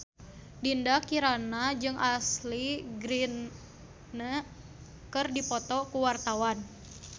Dinda Kirana jeung Ashley Greene keur dipoto ku wartawan